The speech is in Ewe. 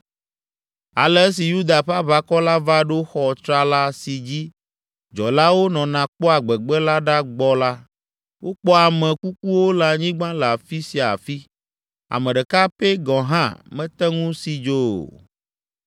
Ale esi Yuda ƒe aʋakɔ la va ɖo xɔ tsrala si dzi dzɔlawo nɔna kpɔa gbegbe la ɖa gbɔ la, wokpɔ ame kukuwo le anyigba le afi sia afi, ame ɖeka pɛ gɔ̃ hã mete ŋu si dzo o.